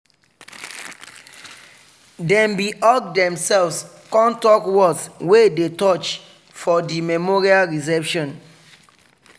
dem bin hug demselves con talk words wey dey touch for the memorial reception.